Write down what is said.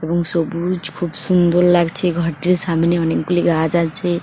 এবং সবুজ খুব সুন্দর লাগছে ঘরটির সামনে অনেকগুলি গাছ আছে।